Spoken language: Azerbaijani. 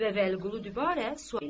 Və Vəliqulu dübarə sual elədi.